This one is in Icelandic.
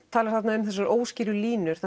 talar þarna um þessar óskýru línur